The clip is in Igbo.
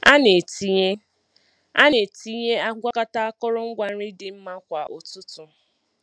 A na-etinye A na-etinye ngwakọta akụrụngwa nri dị mmma kwa ụtụtụ.